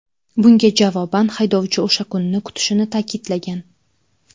Bunga javoban haydovchi o‘sha kunni kutishini ta’kidlagan.